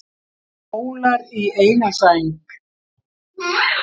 Skólar í eina sæng